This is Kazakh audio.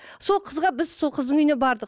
сол қызға біз сол қыздың үйіне бардық